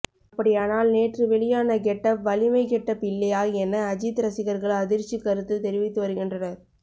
அப்படியானால் நேற்று வெளியான கெட்டப் வலிமை கெட்டப் இல்லையா என அஜித் ரசிகர்கள் அதிர்ச்சி கருத்து தெரிவித்து வருகின்றனர்